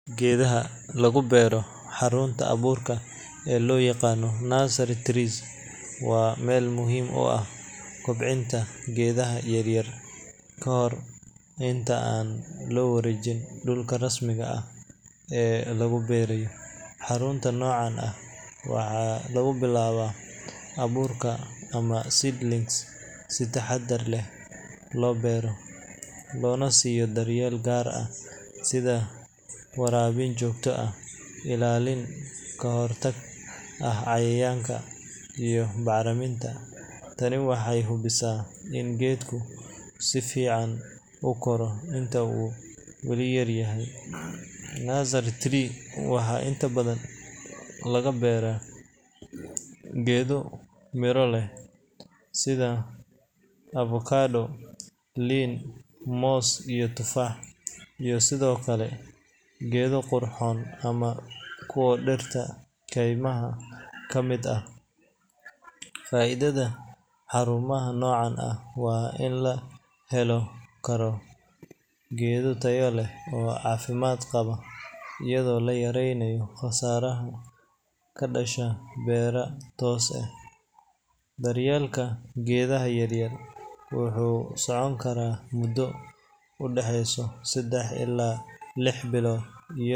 Geedaha lagu beero xarunta abuurka ee loo yaqaan nursery trees waa meel muhiim u ah kobcinta geedaha yaryar ka hor inta aan loo wareejin dhulka rasmiga ah ee lagu beerayo. Xarunta noocan ah waxaa lagu bilaabaa abuurka ama seedlings si taxaddar leh loo beero, loona siiyo daryeel gaar ah sida waraabin joogto ah, ilaalin ka hortag ah cayayaanka, iyo bacriminta. Tani waxay hubinaysaa in geedku si fiican u koro inta uu weli yar yahay. Nursery trees waxaa inta badan laga beeraa geedo miro leh sida avokado, liin, moos iyo tufaax, iyo sidoo kale geedo qurxoon ama kuwo dhirta kaymaha ka mid ah. Faa’iidada xarumaha noocan ah waa in la heli karo geedo tayo leh oo caafimaad qaba, iyadoo la yareynayo khasaaraha ka dhasha beero toos ah. Daryeelka geedaha yaryar wuxuu socon karaa muddo u dhaxeysa saddex illaa lix bilood.